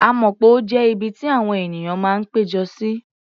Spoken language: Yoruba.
A mọ̀ pé ó jẹ́ ibi tí àwọn ènìyàn máa ń pé jọ sí.